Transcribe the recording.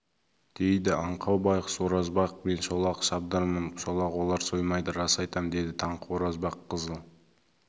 дейді аңқау байғұс оразбақ мен шолақ шабдармын шолақ олар соймайды рас айтам деді таңқы оразбақ қызыл